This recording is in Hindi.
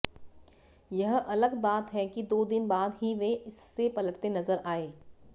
यह अलग बात है कि दो दिन बाद ही वे इससे पलटते नज़र आये